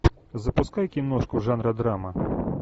запускай киношку жанра драма